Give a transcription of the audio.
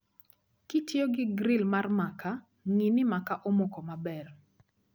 Kitiyogi gril mar makaa, ng'ii ni makaa omoko maber